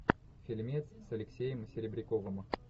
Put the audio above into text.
фильмец с алексеем серебряковым